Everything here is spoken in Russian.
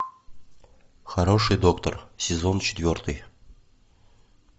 хороший доктор сезон четвертый